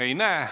Ei näe.